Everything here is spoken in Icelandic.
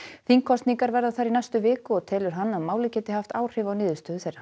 þingkosningar verða þar í næstu viku og telur hann að málið geti haft áhrif á niðurstöður þeirra